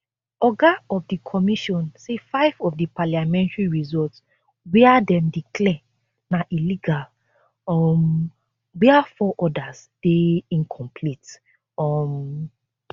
oga of di commission say five of di parliamentary results wia dem declare na illegal um wia four odas dey incomplete um